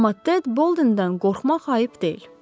amma Ted Boldendən qorxmaq ayıb deyil.